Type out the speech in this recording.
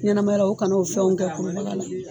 Ɲɛnɛmaya o kana o fɛnw kɛ kurubaga la